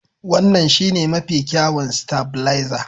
Wannan shine mafi kyawun stavilizer.